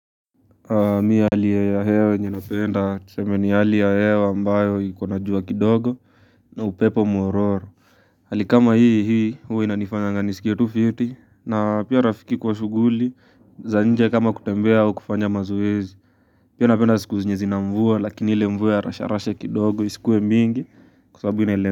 Mimi hali ya hewa yenye napenda tuseme ni hali ya hewa ambayo iko na jua kidogo na upepo mwororo Hali kama hii hii huwa inanifanyanga niskie tu fiti na pia rafiki kwa shughuli za nje kama kutembea au kufanya mazoezi Pia napenda siku zina mvua lakini ile mvua ya rasharasha kidogo isikuwe mingi kwa sababu inaele.